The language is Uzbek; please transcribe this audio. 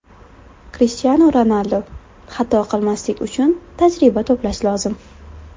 Krishtianu Ronaldu Xato qilmaslik uchun tajriba to‘plash lozim.